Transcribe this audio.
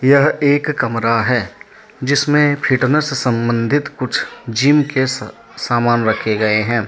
यह एक कमरा है जिसमें फिटनेस संबंधित कुछ जिम के स_सामान रखे गए हैं।